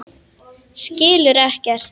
Skilur ekkert.